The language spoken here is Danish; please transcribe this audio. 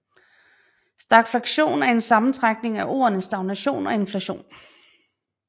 Stagflation er en sammentrækning af ordene stagnation og inflation